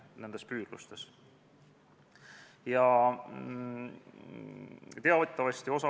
Rohkem arupärimiste ja eelnõude üleandmise soove ei ole.